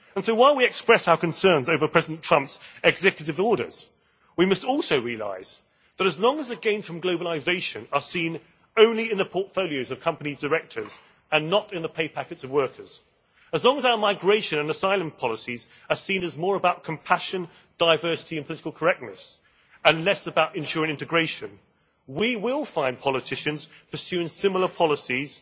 While we express our concerns over President Trump's executive orders, we must also realise that as long as the gains from globalisation are seen only in the portfolios of company directors and not in the pay packets of workers, as long as our migration and asylum policies are seen as more about compassion, diversity and political correctness, and less about ensuring integration, we will find politicians pursuing similar policies